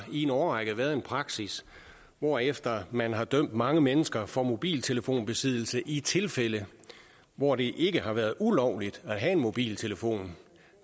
i en årrække har været en praksis hvorefter man har dømt mange mennesker for mobiltelefonbesiddelse i tilfælde hvor det ikke har været ulovligt at have en mobiltelefon